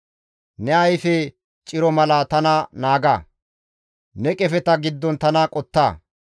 Ne ayfe ciro mala tana naaga; ne qefeta giddon tana qotta.